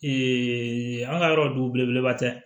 an ka yɔrɔ du belebeleba tɛ